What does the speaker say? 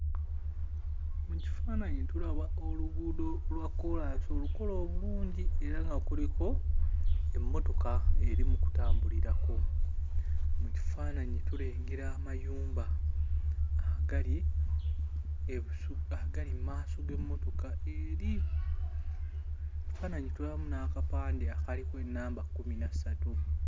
Mu kifaananyi tulaba oluguudo lwa kkolansi olukole obulungi era nga kuliko emmotoka eri mu kutambulirako, mu kifaananyi tulengera amayumba agali ebusu agali mmaaso g'emmotoka eri, ekifaananyi tulabamu n'akapande akaliko ennamba kkumi na ssatu.